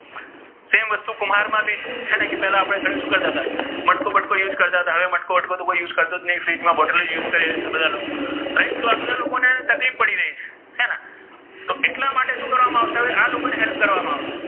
same વસ્તુ કુમ્ભાર મા ભી હે ને કે પેલા આપણે ઘરે શુ કરતા મટકુ બટકુ use કરતા હતા હવે તો કોઇ મટકુ બટકુ તો કોઇ use કરતુ જ નહી ફ્રીજ મા બોટલ નો જ use કરીઍ છીઍ બધા લોકો right તો આ બધા લોકોને તકલીફ પડી રહી છે હે ને તો ઍટલા માટે શુ કરવા મા આવશે તો હવે આ લોકોને help કરવા મા આવશે.